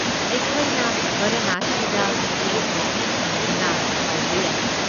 ꯑꯩꯈꯣꯏꯅ ꯕꯔꯥꯅꯁꯤꯗ ꯃꯤꯠꯌꯦꯡ ꯍꯥꯏꯐꯦꯠ ꯊꯝꯗꯨꯅ ꯍꯧꯕ ꯌꯥꯏ꯫